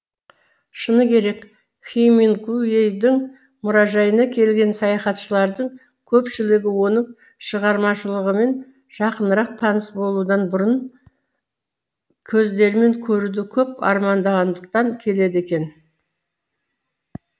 шыны керек хемингуэйдің мұражайына келген саяхатшылардың көпшілігі оның шығармашылығымен жақынырақ таныс болудан бұрын мысықтарын өз көздерімен көруді көп армандағандықтан келеді екен